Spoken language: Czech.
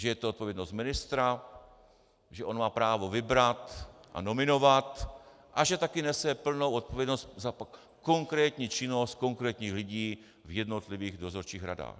Že je to odpovědnost ministra, že on má právo vybrat a nominovat a že taky nese plnou odpovědnost za konkrétní činnost konkrétních lidí v jednotlivých dozorčích radách.